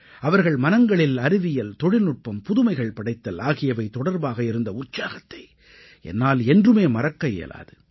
அவர்கள் மனங்களில் அறிவியல் தொழில்நுட்பம் புதுமைகள் படைத்தல் ஆகியவை தொடர்பாக இருந்த உற்சாகத்தை என்னால் என்றும் மறக்கவே இயலாது